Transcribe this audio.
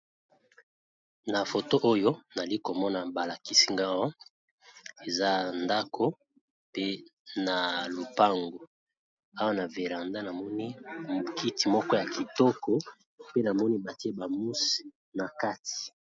Na foto oyo nali komona ba lakisi nga awa eza ndako pe na lopango, awa na veranda namoni mo kiti moko ya kitoko pe namoni batie ba mouse na kati.